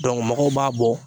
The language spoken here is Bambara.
mɔgɔw b'a bɔ.